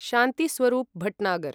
Shanti Swarup Bhatnagar